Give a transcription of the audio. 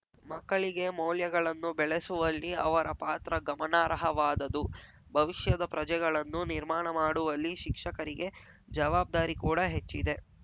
ಮಕ್ಕಳಿಗೆ ಮೌಲ್ಯಗಳನ್ನು ಬೆಳೆಸುವಲ್ಲಿ ಅವರ ಪಾತ್ರ ಗಮನಾರ್ಹವಾದದು ಭವಿಷ್ಯದ ಪ್ರಜೆಗಳನ್ನು ನಿರ್ಮಾಣ ಮಾಡುವಲ್ಲಿ ಶಿಕ್ಷಕರಿಗೆ ಜವಾಬ್ದಾರಿ ಕೂಡ ಹೆಚ್ಚಿದೆ